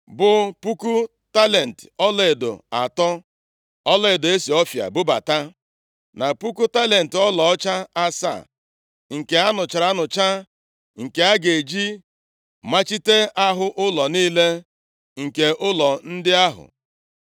bụ puku talenti ọlaedo atọ (ọlaedo e si Ọfịa bubata), na puku talenti ọlaọcha asaa nke a nụchara anụcha, nke a ga-eji machite ahụ ụlọ niile nke ụlọ ndị ahụ.